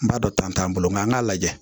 N b'a dɔn tɔn t'an bolo nka an k'a lajɛ